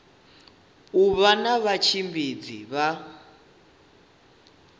u vha na vhatshimbidzi vha